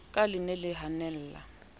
ka le ne le hanella